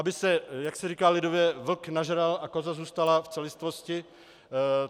Aby se, jak se říká lidově, vlk nažral a koza zůstala v celistvosti?